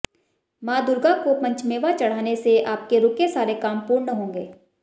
मां दुर्गा को पंचमेवा चढ़ाने से आपके रुके सारे काम पूर्ण होंगे